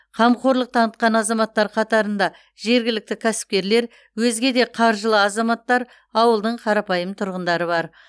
қамқорлық танытқан азаматтар қатарында жергілікті кәсіпкерлер өзге де қаржылы азаматтар ауылдың қарапайым тұрғындары бар